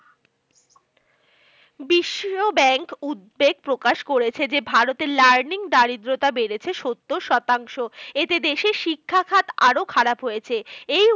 বিশ্বব্যাঙ্ক উদ্বেগ প্রকাশ করেছে যে, ভারত এর learning দারিদ্রতা বেড়েছে সত্তর শতাংশ। এতে দেশের শিক্ষাখাত আরো খারাপ হয়েছে। এই